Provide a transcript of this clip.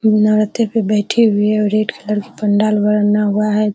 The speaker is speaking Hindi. नार्थे पे बैठे हुए और रेड कलर के पंडाल बरन्ना हुआ है।